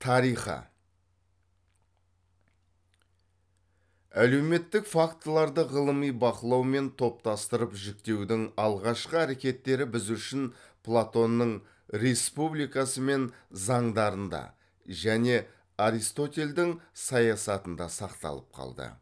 тарихы әлеуметтік фактыларды ғылыми бақылау мен топтастырып жіктеудің алғашқы әрекеттері біз үшін платонның республикасы мен заңдарында және аристотельдің саясатында сақталып қалды